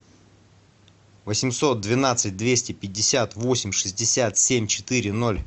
восемьсот двенадцать двести пятьдесят восемь шестьдесят семь четыре ноль